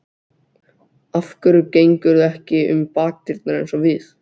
Af hverju gengurðu ekki um bakdyrnar eins og við?